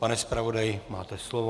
Pane zpravodaji, máte slovo.